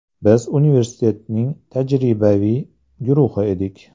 Biz universitetning tajribaviy guruhi edik.